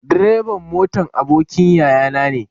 Direban motan abokin yayana ne.